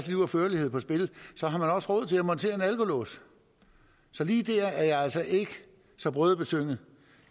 liv og førlighed på spil så har man også råd til at montere en alkolås så lige der er jeg altså ikke så brødebetynget